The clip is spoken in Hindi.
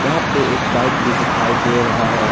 यहां पर एक बाइक भी दिखाई दे रहा है।